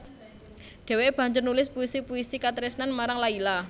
Dheweké banjur nulis puisi puisi katresnan marang Layla